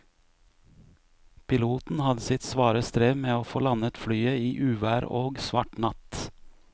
Piloten hadde sitt svare strev med å få landet flyet i uvær og svart natt.